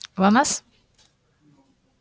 глонассс